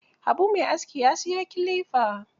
Habu mai aski ya siyo kilifa.